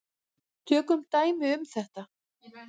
Tökum dæmi um þetta.